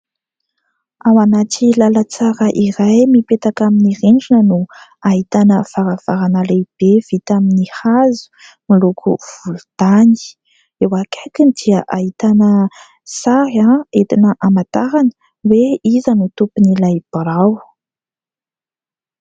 Ao anaty lalan-tsara iray mipetaka amin'ny rindrina no ahitana varavarana lehibe vita amin'ny hazo miloko volontany, eo akaikiny dia ahitana sary entina hamantarana hoe iza no tompon'ilay birao.